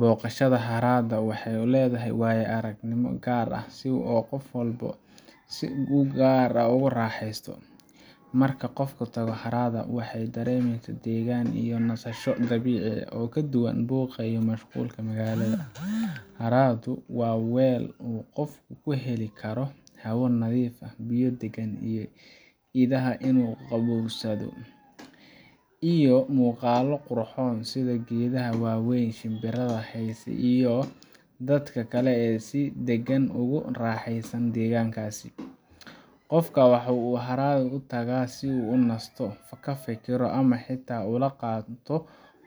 Boqashada haraada waxeey ledahay waayo aragnimo gaar ah si uu qof walbo si ugaar ah u raxeesto, marka qofka uu haraada waxaa dareemeysa dagnaan iyo nasasho dabiici ah kaduban buuqa iyo mashquulka magaalada, haraadu waa weel uu qofka kuheli karo hawo nadiif ah, biyo nadiif ah iyo inuu qaboobsado, iyo muuqalo qurxoon sida geedaha waweyn, shimbirada heeso iyo dadka kale si dagan ugu raxeesan deegankaasi, qofka wuxuu haraad ugu tagaa si uu unasto, kafikiro ama xitaa ula qaato